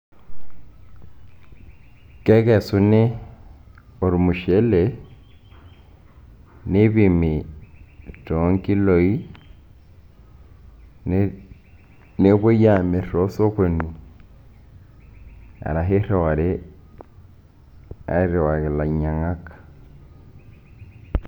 kekesuni ormushele, ne..neipimi toorkiloi, nepuoi, aamir tosokoni arashu iriwari airiwaki ilainyiang'ak.